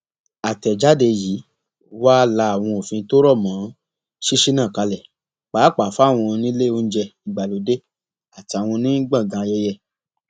àtẹjáde yìí wàá la àwọn òfin tó rọ mọ ṣíṣí náà kalẹ pàápàá fáwọn onílé oúnjẹ ìgbàlódé àtàwọn onígbọngàn ayẹyẹ